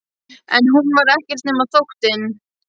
En hún var ekkert nema þóttinn.